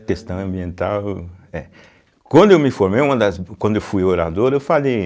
A questão ambiental, é. Quando eu me formei, uma das, quando eu fui orador, eu falei...